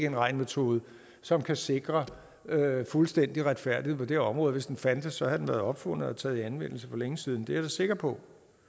en regnemetode som kan sikre fuldstændig retfærdighed på det område og hvis den fandtes var den blevet opfundet og taget i anvendelse for længe siden det er jeg sikker på